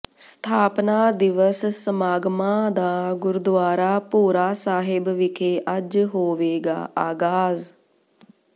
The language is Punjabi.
ਸਥਾਪਨਾ ਦਿਵਸ ਸਮਾਗਮਾਂ ਦਾ ਗੁਰਦੁਆਰਾ ਭੋਰਾ ਸਾਹਿਬ ਵਿਖੇ ਅੱਜ ਹੋਵੇਗਾ ਆਗਾਜ਼